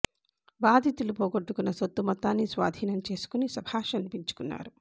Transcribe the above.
బాధితులు పోగొట్టుకున్న సొత్తు మొత్తాన్ని స్వాధీనం చేసుకొని శభాష్ అనిపించుకున్నారు